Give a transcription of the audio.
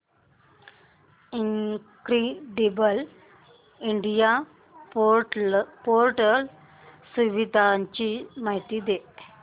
incredible India portal सुविधांची माहिती दे